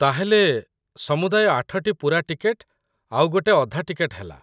ତା'ହେଲେ, ସମୁଦାୟ ୮ଟି ପୂରା ଟିକେଟ ଆଉ ଗୋଟେ ଅଧା ଟିକେଟ ହେଲା।